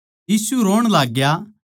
यीशु रोण लाग्या